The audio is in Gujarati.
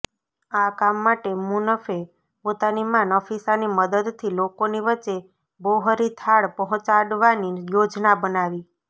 આ કામ માટે મુનફે પોતાની મા નફીસાની મદદથી લોકોની વચ્ચે બોહરી થાળ પહોંચાડવાની યોજના બનાવી